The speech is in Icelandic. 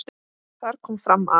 Þar kom fram að